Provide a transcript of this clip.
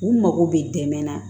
U mago bɛ dɛmɛ na